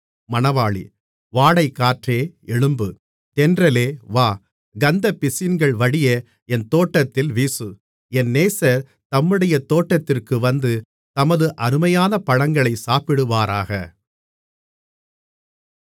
வாடைக்காற்றே எழும்பு தென்றலே வா கந்தப்பிசின்கள் வடிய என் தோட்டத்தில் வீசு என் நேசர் தம்முடைய தோட்டத்திற்கு வந்து தமது அருமையான பழங்களைச் சாப்பிடுவாராக